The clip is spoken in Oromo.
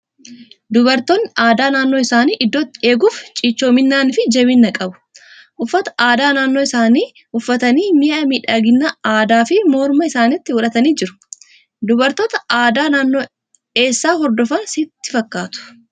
Dubartoonni aadaa naannoo isaanii iddootti eeguuf cichoominaa fi jabina qabu. Uffata aadaa naannoo isaanii uffatanii, mi'a miidhaginaa addaa fi morma isaaniitti godhatanii jiru. Dubartoota aadaa naannoo eessaa hordofan sitti fakkaatu?